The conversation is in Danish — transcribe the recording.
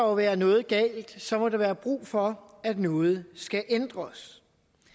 være noget galt så må der være brug for at noget skal ændres